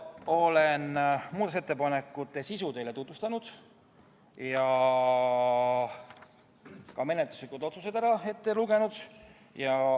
Olen muudatusettepanekute sisu teile tutvustanud ja ka menetluslikud otsused ette lugenud.